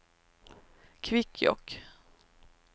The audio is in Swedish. Kvikkjokk